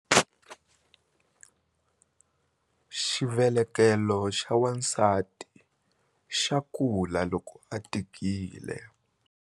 Xivelekelo xa wansati xa kula loko a tikile.